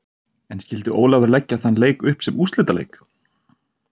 En skyldi Ólafur leggja þann leik upp sem úrslitaleik?